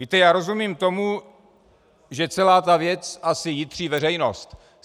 Víte, já rozumím tomu, že celá ta věc asi jitří veřejnost.